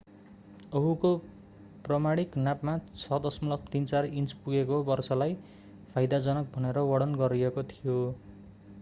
ओहुको प्रमाणिक नापमा 6.34 इन्च पुगेको वर्षालाई फाइदाजनक भनेर वर्णन गरिएको थियो